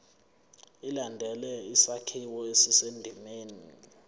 ilandele isakhiwo esisendimeni